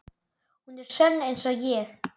Hún er sönn einsog ég.